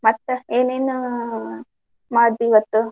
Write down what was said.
ಮತ್ತ್ ಏನೇನ್ ಮಾಡ್ದಿ ಇವತ್ತ್?